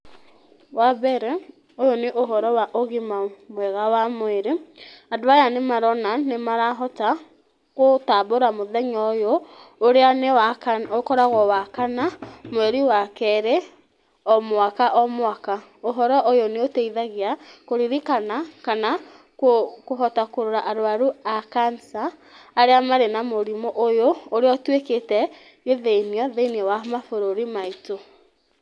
Wa mbere ũyũ nĩ ũhoro wa ũgima mwega wa mwĩrĩ , andũ aya nĩ maronania nĩ marahota gũtambũra mũthenya ũyũ ũrĩa ũkoragwo nĩ wakana mweri wa kerĩ o mwaka o mwaka , ũhoro ũyũ nĩ ũteithagia kũririkana kana kũhota kũrora arwaru a Cancer , arĩa marĩ na mũrimũ ũyũ ũrĩa ũtwĩkĩte gĩthĩnio thĩiniĩ wa mabũrũri maitũ.